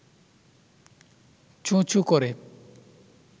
চোঁ-চোঁ করে